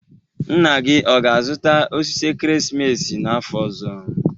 Nna gị ọ ga-azụta osisi ekeresimesi n'afọ ọzọ?